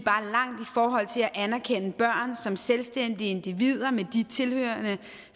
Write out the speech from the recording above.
forhold til at anerkende børn som selvstændige individer med de tilhørende